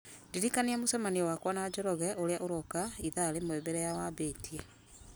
ndirikania mũcemanio wakwa na njoroge ũrĩa ũrooka ithaa rĩmwe mbere ya wambĩtie